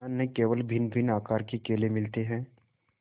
यहाँ न केवल भिन्नभिन्न आकार के केले मिलते हैं